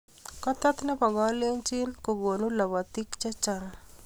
Kotet ne bo kalenjin ko konuu lobotii chechang.